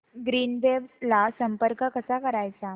Greenwaves ला संपर्क कसा करायचा